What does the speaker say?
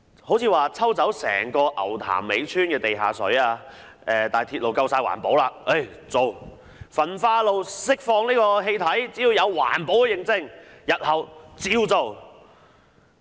例如抽走整個牛潭尾村的地下水興建鐵路，但因為鐵路夠環保，就可以做；焚化爐釋放氣體，只要有環保認證，日後也可照做。